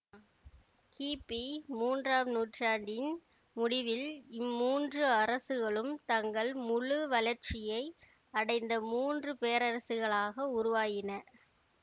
கி பி மூன்றாம் நூற்றாணடின் முடிவில் இம்மூன்று அரசுகளும் தங்கள் முழு வளர்ச்சியை அடைந்த மூன்று பேரரசுகளாக உருவாகின